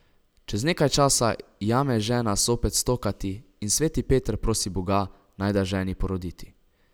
Čez nekaj časa jame žena zopet stokati in sveti Peter prosi Boga, naj da ženi poroditi.